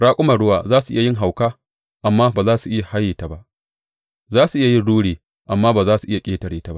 Raƙuman ruwa za su iya yin hauka, amma ba za su iya haye ta ba; za su iya yin ruri, amma ba za su iya ƙetare ta ba.